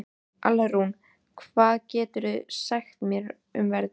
Alrún, hvað geturðu sagt mér um veðrið?